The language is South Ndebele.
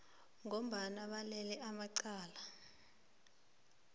kobana balele amacala